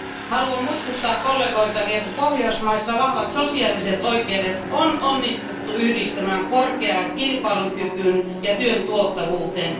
Haluan muistuttaa kollegoitani, että Pohjoismaissa vahvat sosiaaliset oikeudet on onnistuttu yhdistämään korkeaan kilpailukykyyn ja työn tuottavuuteen.